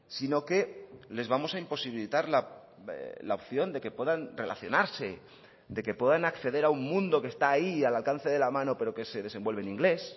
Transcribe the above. sino que les vamos a imposibilitar la opción de que puedan relacionarse de que puedan acceder a un mundo que está ahí al alcance de la mano pero que se desenvuelve en inglés